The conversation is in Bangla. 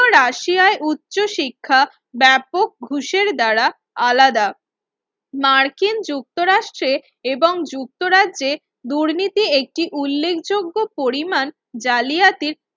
রাশিয়ায় উচ্চশিক্ষা ব্যাপক ঘুষের দ্বারা আলাদা মার্কিন যুক্ত রাষ্ট্রের এবং যুক্তরাজ্যে দুর্নীতির একটি উল্লেখযোগ্য পরিমাণ জালিয়াতির